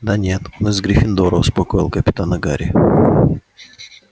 да нет он из гриффиндора успокоил капитана гарри